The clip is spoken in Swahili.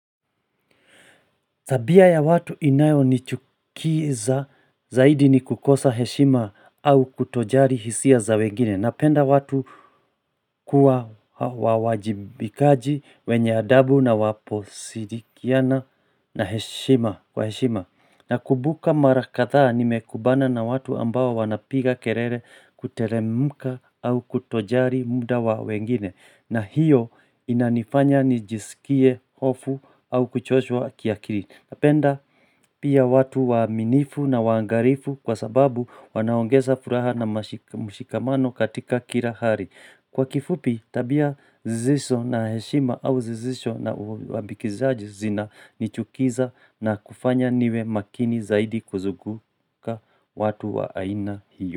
Tabia ya watu inayo ni chukiza zaidi ni kukosa heshima au kutojari hisia za wengine. Napenda watu kuwa wawajibikaji wenye adabu na waposirikiana na heshima. Kwa heshima na kubuka mara kadhaa ni mekubana na watu ambao wanapiga kerere kuteremuka au kutojari muda wa wengine. Na hiyo inanifanya nijisikie hofu au kuchoshwa kiakiri. Napenda pia watu waaminifu na wangarifu kwa sababu wanaongeza furaha na mashi mshikamano katika kira hari. Kwa kifupi tabia zisizo na heshima au zizo na uambikizaji zina nichukiza na kufanya niwe makini zaidi kuzuguka watu wa aina hiyo.